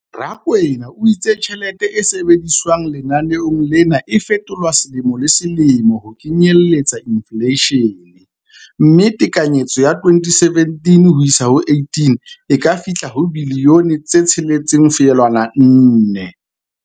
Rakwena o itse tjhelete e sebediswang lenaneong lena e fetolwa selemo le selemo ho kenyelletsa infleishene, mme tekanyetso ya 2017-18 e ka fihla ho R6.4 bilione.